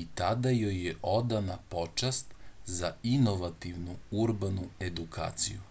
i tada joj je odana počast za inovativnu urbanu edukaciju